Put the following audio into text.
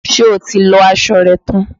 Ṣé o ti lọ aṣọ rẹ tán?